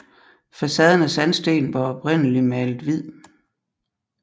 Facaden af sandsten var oprindeligt malet hvid